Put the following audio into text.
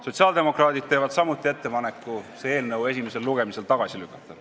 Sotsiaaldemokraadid teevad samuti ettepaneku see eelnõu esimesel lugemisel tagasi lükata.